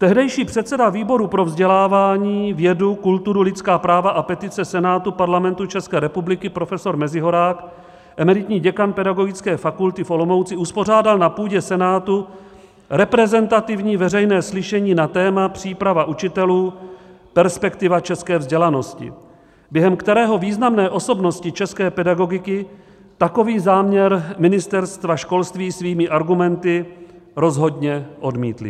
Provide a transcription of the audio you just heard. Tehdejší předseda výboru pro vzdělávání, vědu, kulturu, lidská práva a petice Senátu Parlamentu České republiky profesor Mezihorák, emeritní děkan Pedagogické fakulty v Olomouci, uspořádal na půdě Senátu reprezentativní veřejné slyšení na téma Příprava učitelů, perspektiva české vzdělanosti, během kterého významné osobnosti české pedagogiky takový záměr Ministerstva školství svými argumenty rozhodně odmítly.